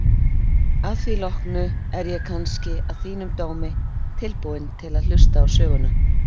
Að því loknu er ég kannski að þínum dómi tilbúinn til að hlusta á söguna.